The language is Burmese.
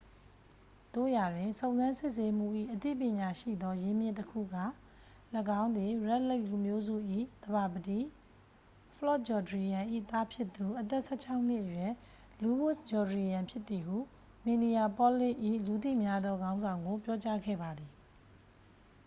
သို့ရာတွင် စုံစမ်းစစ်ဆေးမှု၏ အသိပညာရှိသောရင်းမြစ်တစ်ခုက ၎င်းသည် red lake လူမျိုးစု၏သဘာပတိ ဖလော့တ်ဂျောဒရီယမ် ၏သားဖြစ်သူ အသက် 16-နှစ်အရွယ် လူးဝစ်ဂျောဒရီယမ် ဖြစ်သည်ဟု မင်နီယာပေါလစ်၏ လူသိများသောခေါင်းဆောင်ကို ပြောကြားခဲ့ပါသည်